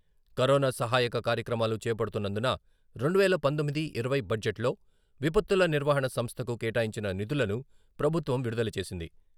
Corona సహాయక కార్యక్రమాలు చేపడుతున్నందున రెండువేల పంతొమ్మిది మరియు ఇరవై బడ్జెట్లో విపత్తుల నిర్వహణ సంస్థకు కేటాయించిన నిధులను ప్రభుత్వం విడుదల చేసింది.